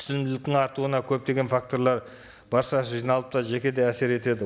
түсінімділіктің артуына көптеген факторлар баршасы жиналып та жеке де әсер етеді